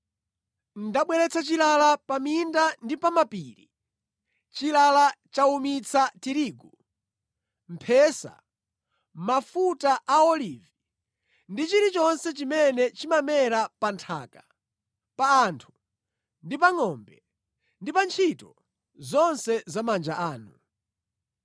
Ndabweretsa chilala pa minda ndi pa mapiri, chilala chawumitsa tirigu, mphesa, mafuta a olivi ndi chilichonse chimene chimamera pa nthaka, pa anthu ndi pa ngʼombe, ndi pa ntchito zonse za manja anu.”